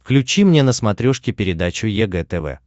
включи мне на смотрешке передачу егэ тв